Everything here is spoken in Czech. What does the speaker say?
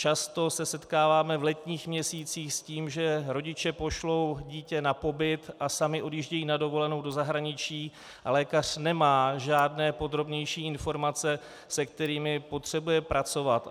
Často se setkáváme v letních měsících s tím, že rodiče pošlou dítě na pobyt a sami odjíždějí na dovolenou do zahraničí a lékař nemá žádné podrobnější informace, se kterými potřebuje pracovat.